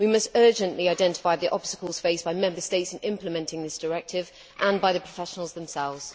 We must urgently identify the obstacles faced by Member States in implementing this directive and by the professionals themselves.